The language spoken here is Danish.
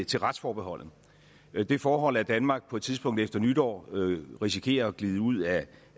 til retsforbeholdet og det forhold at danmark på et tidspunkt efter nytår risikerer at glide ud af